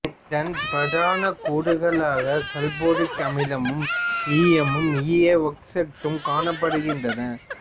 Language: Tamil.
இதன் பிரதான கூறுகளாக சல்பூரிக் அமிலமும் ஈயமும் ஈய ஒக்சைட்டும் காணப்படுகின்றன